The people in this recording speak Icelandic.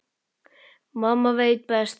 Mamma veit best.